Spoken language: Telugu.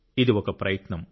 ఇది ఒక ప్రయత్నం